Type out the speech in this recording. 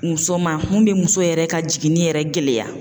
Muso man mun be muso yɛrɛ ka jigini yɛrɛ gɛlɛya.